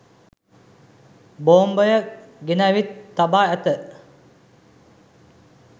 බෝම්බය ගෙනැවිත් තබා ඇත